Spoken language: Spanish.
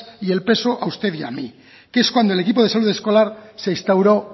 y el peso a usted y a mí que es cuando el equipo de salud escolar se instauro